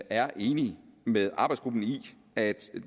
er enig med arbejdsgruppen i at